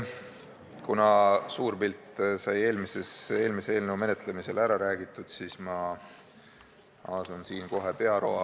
Kuna suur pilt sai eelmise eelnõu menetlemisel ära räägitud, siis asun kohe pearoa kallale.